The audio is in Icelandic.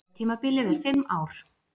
Kjörtímabilið er fimm ár